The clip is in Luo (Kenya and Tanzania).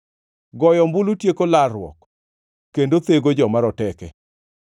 Goyo ombulu tieko larruok kendo thego joma roteke.